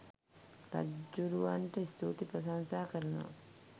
රජ්ජුරුවන්ට ස්තුති ප්‍රශංසා කරනවා